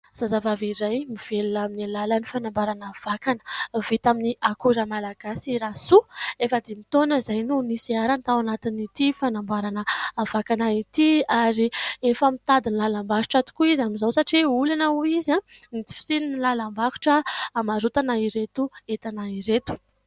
Zazavavy iray mivelona amin'ny alalan'ny fanamboarana vakana. Vita amin'ny akora malagasy Rasoa, efa dimy taona izay no niseharany tao anatin'ity fanamboarana vakana ity, ary efa mitady ny lalam-barotra tokoa izy amin'izao satria olana hoy izy ny tsy fisian'ny lalam-barotra hamarotana ireto entana ireto.